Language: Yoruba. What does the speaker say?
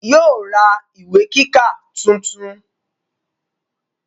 yóò ra ìwé kíkà tuntun.